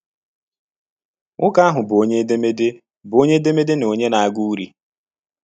Nwoke ahụ bụ onye edemede bụ onye edemede na onye na - agụ urí.